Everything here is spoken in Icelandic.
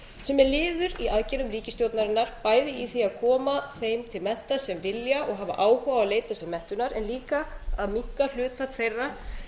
sem er liður í aðgerðum ríkisstjórnarinnar bæði í því að koma þeim til mennta sem vilja og hafa áhuga á að leita sér menntunar en líka að minnka hlutfall þeirra